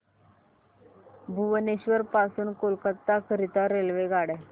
भुवनेश्वर पासून कोलकाता करीता रेल्वेगाड्या